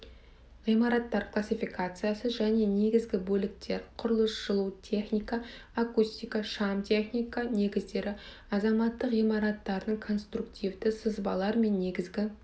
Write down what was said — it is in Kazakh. ғимараттар классификациясы және негізгі бөліктер құрылыс жылу техника акустика шам техника негіздері азаматтық ғимараттардың конструктивті сызбалар мен негізгі